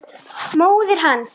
Móðir hans